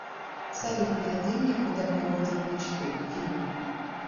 салют найди мне куда приводят мечты фильм